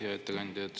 Hea ettekandja!